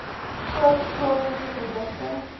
koop plaaslike produkte